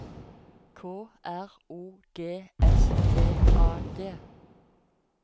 K R O G S T A D